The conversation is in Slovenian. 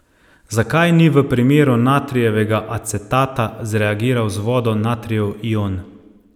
Zakaj ni v primeru natrijevega acetata zreagiral z vodo natrijev ion?